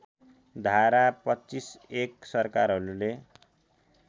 धारा २५ १ सरकारहरूले